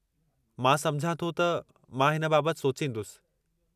मां समुझां थो त मां हिन बाबति सोचींदुसि।